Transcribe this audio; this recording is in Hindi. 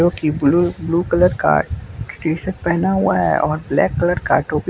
जो कि ब्लू ब्लू कलर का टी शर्ट पहना हुआ है और ब्लैक कलर का टोपी--